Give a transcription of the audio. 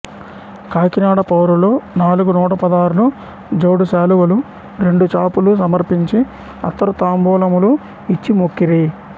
కాకినాడ పౌరులు నాలుగు నూటపదార్లు జోడు శాలువలు రెండు చాపులు సమర్పించి అత్తరు తాంబూలములు ఇచ్చి మొక్కిరి